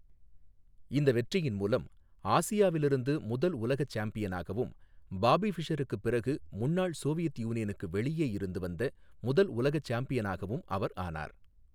இந்த வெற்றியின் மூலம், ஆசியாவிலிருந்து முதல் உலக சாம்பியனாகவும், பாபி ஃபிஷருக்குப் பிறகு முன்னாள் சோவியத் யூனியனுக்கு வெளியே இருந்து வந்த முதல் உலக சாம்பியனாகவும் அவர் ஆனார்.